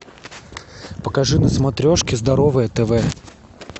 покажи на смотрешке здоровое тв